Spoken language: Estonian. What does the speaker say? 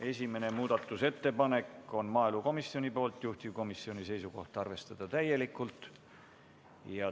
Esimene muudatusettepanek on maaelukomisjonilt, juhtivkomisjoni seisukoht: arvestada täielikult.